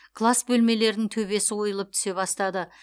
класс бөлмелерінің төбесі ойылып түсе бастады